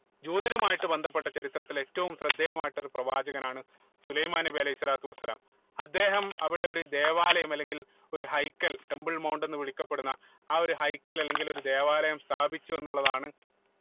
ജൂതരുമായിട്ട് ബന്ധപ്പെട്ട ചരിത്രത്തിൽ ഏറ്റവും ശ്രദ്ധേയമായിട്ടുള്ള ഒരു പ്രവാചകനാണ് സുലൈമാൻ നബി അലൈഹി സ്വലാത്തു വസ്സലാം അദ്ദേഹം അവിടെ ഒരു ദേവാലയം അല്ലെങ്കിൽ ഒരു ഹൈക്കൽ temple mount വിളിക്കപ്പെടുന്ന ആഹ് ഒരു ഹൈക്കൽ അല്ലെങ്കിൽ ഒരു ദേവാലയം സ്ഥാപിച്ചു എന്നുള്ളതാണ്